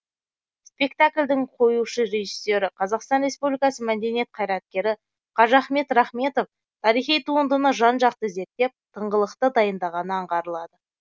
спектакльдің қоюшы режиссері қазақстан республикасы мәдениет қайраткері қажыахмет рахметов тарихи туындыны жан жақты зерттеп тыңғылықты дайындағаны аңғарылады